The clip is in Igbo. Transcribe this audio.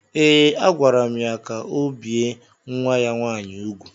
Ee, agwara m ya ka o bie nwa ya nwaanyị úgwù